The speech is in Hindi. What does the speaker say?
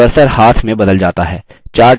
cursor हाथ में बदल जाता है